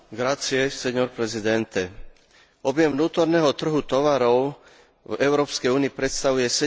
Objem vnútorného trhu tovarov v Európskej únii predstavuje 17 svetového trhu tovarov.